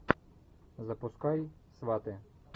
запускай сваты